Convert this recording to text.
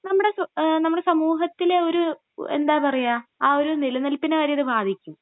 നമ്മുടെ സൊ...നമ്മുടെ സമൂഹത്തിലെ ഒര്..എന്താ പറയുക...ആ ഒരു നിലനിൽപ്പിന വരെ ഇത് ബാധിക്കും.